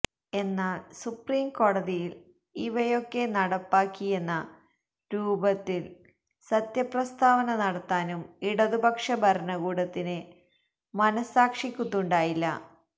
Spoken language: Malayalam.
എന്നാല് സുപ്രീംകോടതിയില് ഇവയൊക്കെ നടപ്പാക്കിയെന്ന രൂപത്തില് സത്യപ്രസ്താവന നടത്താനും ഇടതുപക്ഷ ഭരണകൂടത്തിന് മനസ്സാക്ഷിക്കുത്തുണ്ടായില്ല